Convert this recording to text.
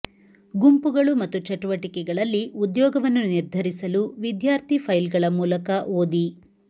ಗುಂಪುಗಳು ಮತ್ತು ಚಟುವಟಿಕೆಗಳಲ್ಲಿ ಉದ್ಯೋಗವನ್ನು ನಿರ್ಧರಿಸಲು ವಿದ್ಯಾರ್ಥಿ ಫೈಲ್ಗಳ ಮೂಲಕ ಓದಿ